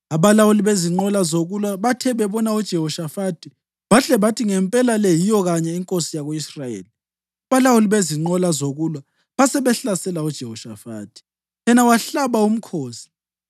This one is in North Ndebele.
Abalawuli bezinqola zokulwa bathe bebona uJehoshafathi, bahle bathi “Ngempela le yiyo kanye inkosi yako-Israyeli.” Abalawuli bezinqola zokulwa basebehlasela uJehoshafathi, yena wahlaba umkhosi,